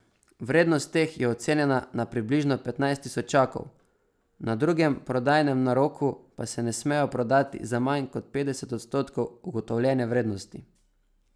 Vrednost teh je ocenjena na približno petnajst tisočakov, na drugem prodajnem naroku pa se ne smejo prodati za manj kot petdeset odstotkov ugotovljene vrednosti.